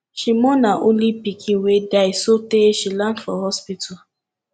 she mourn her only pikin wey die sotee she land for hospital